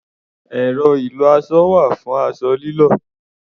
Ẹ̀rọ ìlọ-aṣọ wà fún aṣọ lílọ̀.